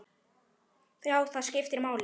Já, skiptir það máli?